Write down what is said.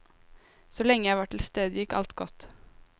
Så lenge jeg var til stede, gikk alt godt.